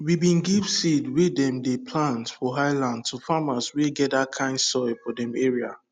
we bin give seed wey dem dey plant for highland to farmers wey get that kind soil for dem area